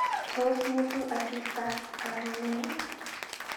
Toa ng'etu asista karunini?